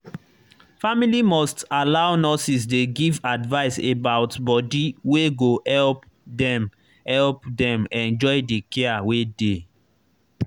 family must allow nurses dey give advice about body wey go help dem help dem enjoy the care wey dey.